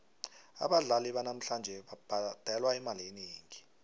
abadlali banamhlanje babhadelwa imali enengi tle